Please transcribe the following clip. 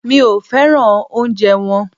Mi ò féràn oúnjẹ wọn.